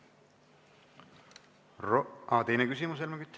Aa, teine küsimus, Helmen Kütt.